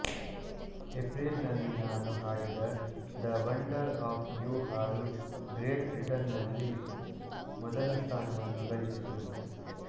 April ನಲ್ಲಿ ತಾನು ಹಾಡಿದ ದ ವಂಡರ್ ಆಫ್ ಯೂ ಹಾಡು ಗ್ರೇಟ್ ಬ್ರಿಟನ್ ನಲ್ಲಿ ಮೊದಲ ಸ್ಥಾನವನ್ನು ಗಳಿಸಿತು